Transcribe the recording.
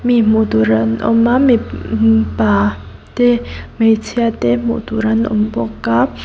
mi hmu tur an awm a mipa te hmeichhia te an awm bawka.